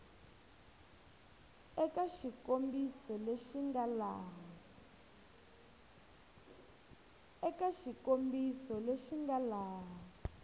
eka xikombiso lexi nga laha